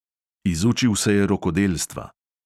Izučil se je rokodelstva.